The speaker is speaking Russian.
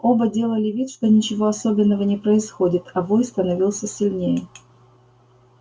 оба делали вид что ничего особенного не происходит а вой становился сильнее